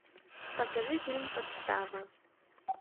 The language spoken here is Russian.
покажи фильм подстава